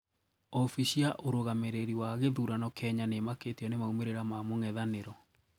Obici ya ũrũgamireri wa githurano Kenya niimakitio na maumĩrĩra ma mũng'ethaniro.